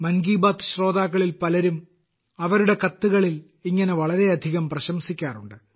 മൻ കി ബാത് ശ്രോതാക്കളിൽ പലരും അവരുടെ കത്തുകളിൽ ഇങ്ങനെ വളരെയധികം പ്രശംസിക്കാറുണ്ട്